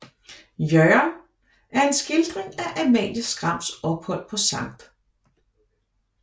Jørgen er en skildring af Amalie Skrams ophold på Skt